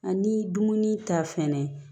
Ani dumuni ta fɛnɛ